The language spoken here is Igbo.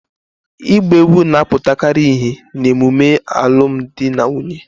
Igba egwu na-aputakari ihe na-emume alum di na nwunye